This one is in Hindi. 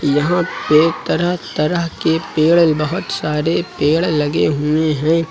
यहां पे तरह तरह के पेड़ बहोत सारे पेड़ लगे हुए हैं।